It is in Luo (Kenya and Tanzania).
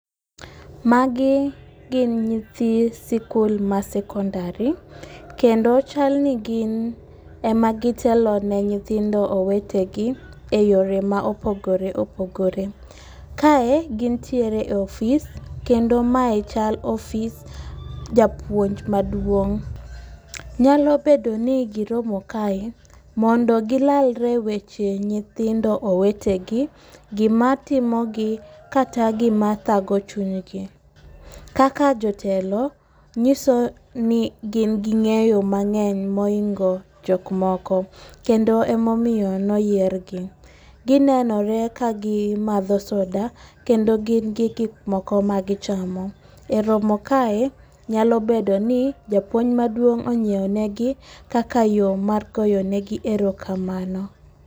Magi gin nyithi sikul ma sekondari kendo chal ni gin ema gitelo ne nyithindo owetegi eyore ma opogore opogore. Kae gintiere e ofis, kendo mae chel ofis japuonj maduong'. Nyalo bedo ni giromo kae mondo gilalre e weche nyithindo owetegi, gimatimogi kata gima thago chunygi. Kaka jotelo nyiso ni gin gi ng'eyo mang'eny mohingo jok moko, kendo emomiyo noyiergi. Ginenore ka gimadho soda kendo gin gi gik moko magichamo. E romo kae, nyalo bedo ni japuonj maduong' onyiewo negi kaka yo mar goyo negi erokamano.